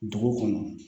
Dugu kɔnɔ